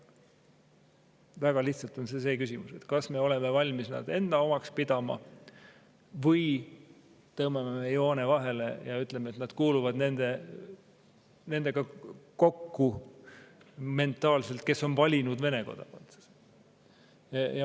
Väga lihtsalt on küsimus see, kas me oleme valmis neid enda omaks pidama või tõmbame joone vahele ja ütleme, et nad kuuluvad mentaalselt kokku nendega, kes on valinud Vene kodakondsuse.